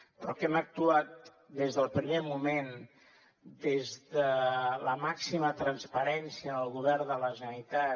però que hem actuat des del primer moment des de la màxima transparència en el govern de la generalitat